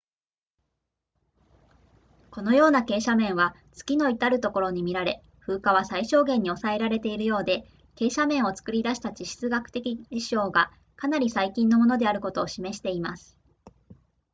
このような傾斜面は月のいたるところに見られ風化は最小限に抑えられているようで傾斜面を作り出した地質学的事象がかなり最近のものであることを示しています